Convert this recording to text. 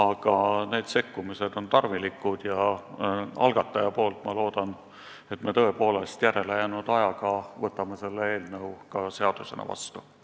Sellised sekkumised on tarvilikud ja algataja nimel loodan, et me tõepoolest jõuame selle eelnõu järele jäänud aja jooksul seadusena vastu võtta.